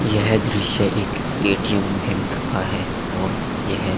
यह दृश्य एक ए.टी.एम. बैंक का है और यह --